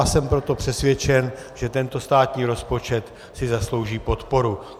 A jsem proto přesvědčen, že tento státní rozpočet si zaslouží podporu.